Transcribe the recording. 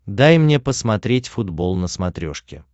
дай мне посмотреть футбол на смотрешке